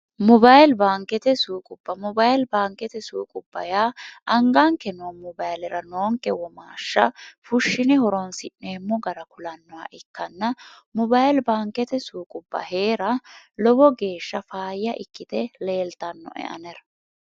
mobayili baankete suuqubba mobayili baankete suuqubba yaa angaanke noo mobayilira noonke womaashsha fushshini horonsi'neemmo gara kulannoha ikkanna mobayili baankete suuqubba hee'ra lowo geeshsha faayya ikkite leeltannoe anera